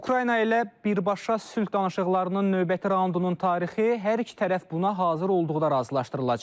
Ukrayna ilə birbaşa sülh danışıqlarının növbəti raundunun tarixi hər iki tərəf buna hazır olduqda razılaşdırılacaq.